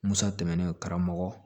Musa tɛmɛnen karamɔgɔ